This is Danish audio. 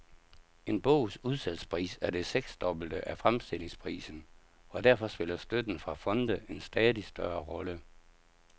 En bogs udsalgspris er det seksdobbelte af fremstillingsprisen, og derfor spiller støtten fra fonde en stadig større rolle.